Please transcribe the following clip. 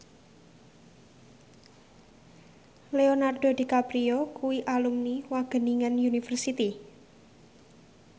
Leonardo DiCaprio kuwi alumni Wageningen University